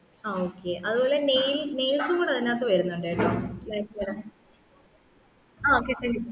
ആ okay അതുപോലെ nail nails കൂടെ അതിനകത്തു വരുന്നുണ്ട് കേട്ടോ ആഹ് കിട്ടി